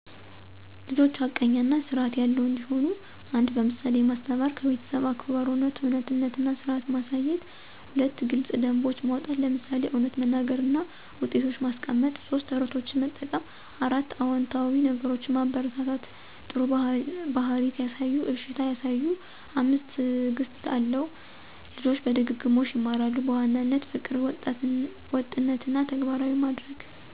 ልጆች ሐቀኛ እና ስርዐት ያለው እንዲሆኑ 1. በምሳሌ ማስተማር - ከቤተሰብ አክብሮት፣ እውነትነት እና ስርዐት ማሳየት። 2. ግልጽ ደንቦች ማውጣት - ለምሳሌ እውነት መናገር እና ውጤቶች ማስቀመጥ። 3. ተረቶችን መጠቀም 4. አዎንታዊ ነገሮችን ማበረታታ - ጥሩ ባህሪ ሲያሳዩ እሺታ ያሳዩ። 5. ትዕግስት አለው - ልጆች በድግግሞሽ ይማራሉ። በዋናነት : ፍቅር፣ ወጥነት እና ተግባራዊ ማድረግ